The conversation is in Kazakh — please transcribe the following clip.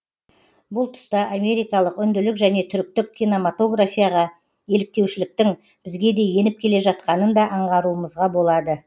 бұл тұста америкалық үнділік және түріктік киномотаграфияға еліктеушіліктің бізге де еніп келе жатқанын да аңғаруымызға болады